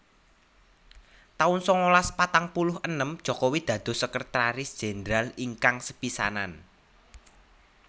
taun sangalas patang puluh enem Jokowi dados Sekretaris Jendral ingkang sepisanan